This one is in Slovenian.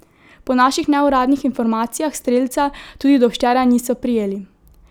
Po naših neuradnih informacijah strelca tudi do včeraj niso prijeli.